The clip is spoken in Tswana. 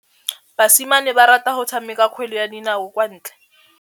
Basimane ba rata go tshameka kgwele ya dinaô kwa ntle.